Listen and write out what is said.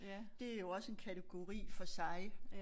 Det jo også en kategori for sig